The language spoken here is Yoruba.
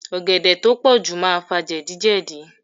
Ọ̀gẹ̀dẹ̀ tó pọ̀jù máa fà jẹ̀díjẹ̀dí.